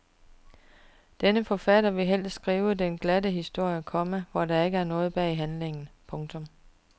Denne forfatter vil helst skrive den glatte historie, komma hvor der ikke er noget bag handlingen. punktum